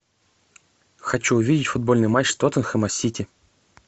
хочу увидеть футбольный матч тоттенхэма с сити